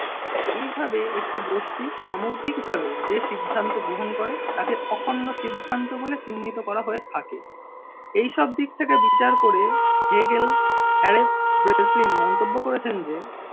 এইভাবে একটি গোষ্ঠী সামগ্রিকভাবে যে সিদ্ধান্ত গ্রহণ করে তাকে অখণ্ড সিদ্ধান্ত বলে চিহ্নিত করা হয়ে থাকে। এই সব দিক থেকে বিচার করে হেগেল হ্যারপ ব্রেসলিন মন্তব্য করেছেন যে